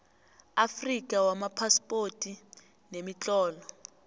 afrika wamaphaspoti nemitlolo